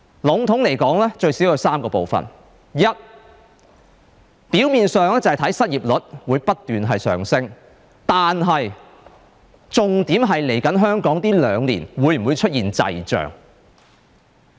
籠統來說，最少有3部分：第一，表面上，失業率會不斷上升，但重點是香港在稍後兩年會否出現滯脹。